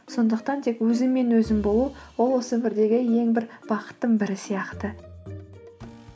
сондықтан тек өзіңмен өзің болу ол осы өмірдегі ең бір бақыттың бірі сияқты